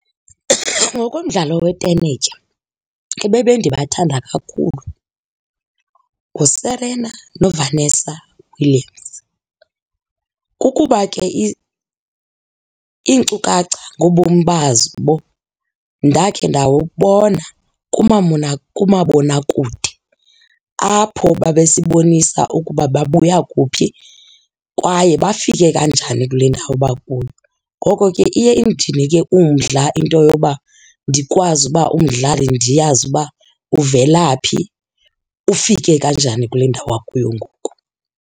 Ngokomdlalo wetenetya ebebendibathanda kakhulu nguSerena noVannesa Williams. Kukuba ke iinkcukacha ngobomi bazo, babo ndakhe ndawubona kumabonakude apho babesibonisa ukuba babuya kuphi kwaye bafike kanjani kule ndawo bakuyo. Ngoko ke iye indinike umdla into yoba ndikwazi uba umdlali ndiyazi uba uvela phi, ufike kanjani kule ndawo akuyo ngoku.